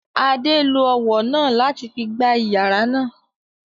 Adé lo ọwọ náà láti fi gbá iyàrá náà